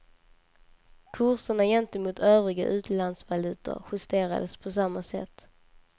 Kurserna gentemot övriga utlandsvalutor justerades på samma sätt.